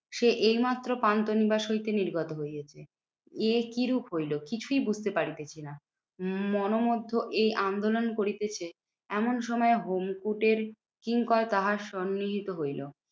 সে এইমাত্র পান্থনিবাস হইতে নির্গত হইয়াছে। এ কিরূপ হইলো কিছুই বুঝতে পারিতেছি না? মনোমধ্যে এই আন্দোলন করিতেছে এমন সময় হোমকুটের কিঙ্কর তাহার সম্মিলিত হইলো।